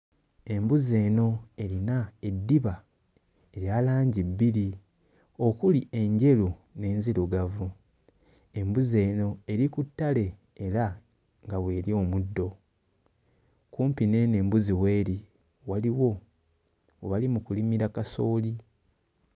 Embuzi eno erina eddiba erya langi bbiri okuli enjeru n'enzirugavu. Embuzi eno eri ku ttale era nga w'erya omuddo. Kumpi n'eno embuzi w'eri waliwo we bali mu kulimira kasooli.